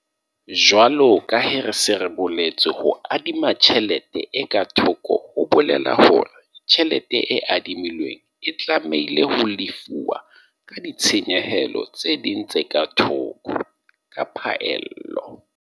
Jwalo ka ha re se re boletse, ho adima tjhelete e ka thoko ho bolela hore tjhelete e adimilweng e tlamehile ho lefuwa ka ditshenyehelo tse ding tse ka thoko - ka phaello.